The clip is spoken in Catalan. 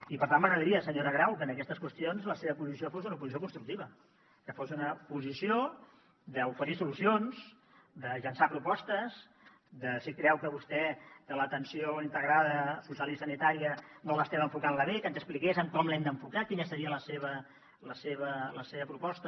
i per tant m’agradaria senyora grau que en aquestes qüestions la seva posició fos una oposició constructiva que fos una posició d’oferir solucions de llençar propostes de si creu vostè que l’atenció integrada social i sanitària no l’estem enfocant bé que ens expliqués com l’hem d’enfocar quina seria la seva proposta